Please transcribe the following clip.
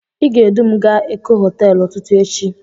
Ị ga-edu m a ga Eko hoteelu ụtụtụ echi.